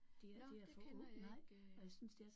Nåh det kender jeg ikke